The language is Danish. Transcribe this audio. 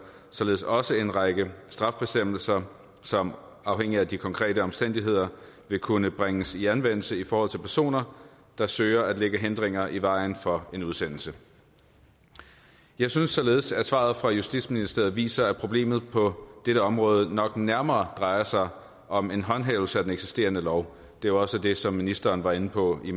således også en række straffebestemmelser som afhængigt af de konkrete omstændigheder vil kunne bringes i anvendelse i forhold til personer der søger at lægge hindringer i vejen for en udsendelse jeg synes således at svaret fra justitsministeriet viser at problemet på dette område nok nærmere drejer sig om en håndhævelse af den eksisterende lov det var også det som ministeren var inde på i